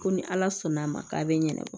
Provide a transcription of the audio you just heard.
Ko ni ala sɔnn'a ma k'a bɛ ɲɛnabɔ